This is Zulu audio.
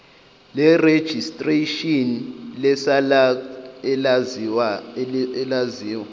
lerejistreshini lesacnasp elaziwa